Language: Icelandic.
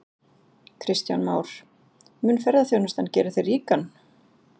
Kristján Már: Mun ferðaþjónustan gera þig ríkan?